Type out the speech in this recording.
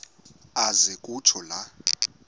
aze kutsho la